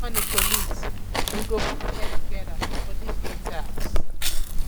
good morning colleagues we go put head togeda for dis new task